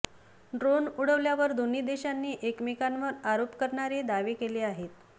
drone उडवल्यावर दोन्ही देशांनी एकमेकांवर आरोप करणारे दावे केले आहेत